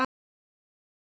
sagði afi blindi.